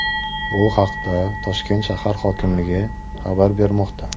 Bu haqda Toshkent shahar hokimligi xabar bermoqda .